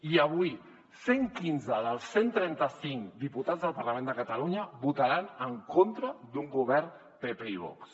i avui cent i quinze dels cent i trenta cinc diputats del parlament de catalunya votaran en contra d’un govern pp i vox